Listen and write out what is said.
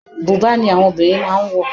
Bùbá ni àwọn obìnrin máà ń wọ̀.